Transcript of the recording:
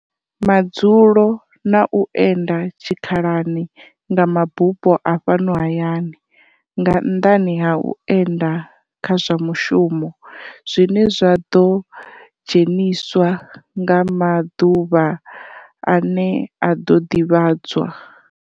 Madzulo na u enda tshikhalani nga mabupo a fhano hayani, nga nnḓani ha u enda kha zwa mushumo, zwine zwa ḓo dzheniswa nga maḓuvha ane a ḓo ḓivhadzwa.